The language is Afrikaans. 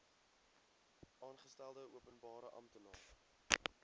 aangestelde openbare amptenaar